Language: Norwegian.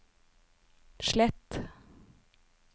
slett